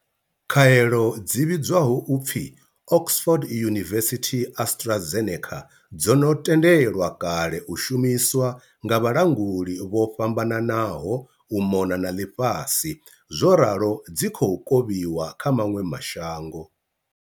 Khaelo dzi vhidzwaho u pfi Oxford University-AstraZe neca dzo no tendelwa kale u shumiswa nga vhalanguli vho fhambananaho u mona na ḽifhasi zworalo dzi khou kovhiwa kha maṅwe ma shango.